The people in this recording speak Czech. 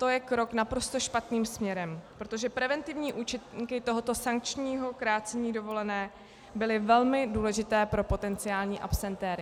To je krok naprosto špatným směrem, protože preventivní účinky tohoto sankčního krácení dovolené byly velmi důležité pro potenciální absentéry.